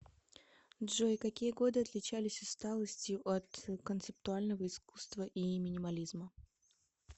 джой какие годы отличались усталостью от концептуального искусства и минимализма